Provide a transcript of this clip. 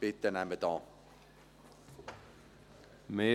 Bitte nehmen Sie sie an.